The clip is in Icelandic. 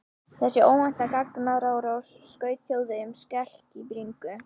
Þessi óvænta gagnárás skaut Þjóðverjunum skelk í bringu.